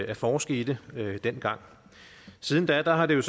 at forske i det dengang siden da har det